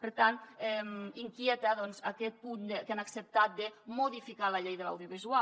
per tant inquieta doncs aquest punt que han acceptat de modificar la llei de l’audiovisual